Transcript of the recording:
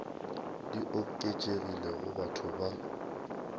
di oketšegilego go batho ba